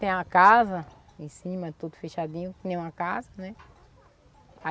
Tem a casa em cima, tudo fechadinho, que nem uma casa, né?